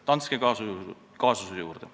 Danske kaasuse juurde.